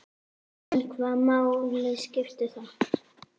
En hvaða máli skiptir það?